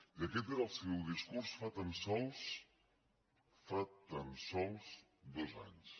i aquest era el seu discurs fa tan sols fa tan sols dos anys